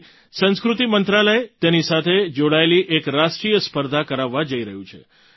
આથી સંસ્કૃતિ મંત્રાલય તેની સાથે જોડાયેલી એક રાષ્ટ્રીય સ્પર્ધા કરાવવા જઈ રહ્યું છે